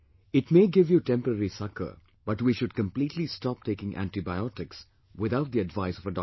It may give you temporary succor, but we should completely stop taking antibiotics without the advice of a doctor